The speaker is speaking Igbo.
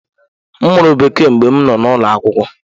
M mụrụ Bekee mgbe m nọ n’ụlọ akwụkwọ.